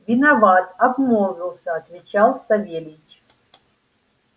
виноват обмолвился отвечал савельич